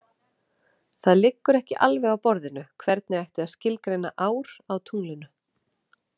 Það liggur ekki alveg á borðinu hvernig ætti að skilgreina ár á tunglinu.